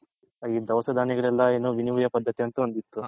ಈ ದವಸ ದನ್ಯಗಳ ಪದಥಿ ಅಂತ ಒಂದ್ ಇತ್ತು